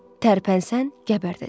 Tərpənsən, gəbərdəcəm.